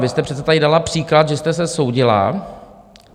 Vy jste přece tady dala příklad, že jste se soudila.